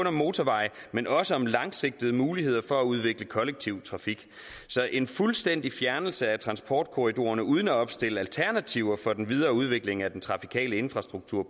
om motorveje men også om langsigtede muligheder for at udvikle kollektiv trafik så en fuldstændig fjernelse af transportkorridorerne uden at opstille alternativer for den videre udvikling af den trafikale infrastruktur